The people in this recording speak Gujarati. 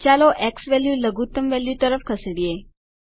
ચાલો ઝવેલ્યુ લઘુત્તમ વેલ્યુ તરફ ખસેડીએ